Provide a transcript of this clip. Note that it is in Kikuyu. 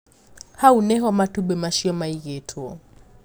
Hau niho matumbĩ macio maigĩtwo.